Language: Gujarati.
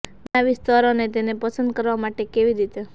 બનાવી સ્તર અને તેને પસંદ કરવા માટે કેવી રીતે